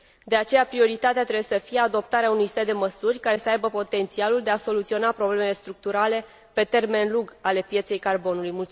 De aceea, prioritatea trebuie să fie adoptarea unui set de măsuri care să aibă potențialul de a soluționa problemele structurale pe termen lung ale pieței carbonului.